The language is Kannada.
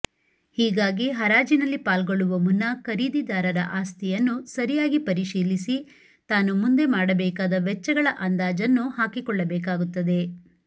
ಹೀಗಾಗಿ ಹರಾಜಿನಲ್ಲಿ ಪಾಲ್ಗೊಳ್ಳುವ ಮುನ್ನ ಖರೀದಿದಾರ ಆಸ್ತಿಯನ್ನು ಸರಿಯಾಗಿ ಪರಿಶೀಲಿಸಿ ತಾನು ಮುಂದೆ ಮಾಡಬೇಕಾದ ವೆಚ್ಚಗಳ ಅಂದಾಜನ್ನು ಹಾಕಿಕೊಳ್ಳ ಬೇಕಾಗುತ್ತದೆ